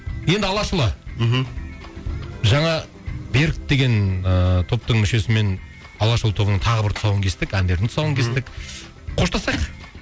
енді алашұлы мхм жаңа берік деген ыыы топтың мүшесімен алашұлы тобының тағы бір тұсауын кестік әндердің тұсауын кестік қоштасайық